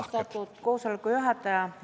Austatud koosoleku juhataja!